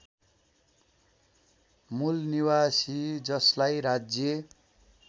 मूलनिवासी जसलाई राज्य